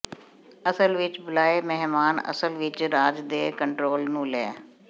ਅਸਲ ਵਿਚ ਬੁਲਾਏ ਮਹਿਮਾਨ ਅਸਲ ਵਿੱਚ ਰਾਜ ਦੇ ਕੰਟਰੋਲ ਨੂੰ ਲੈ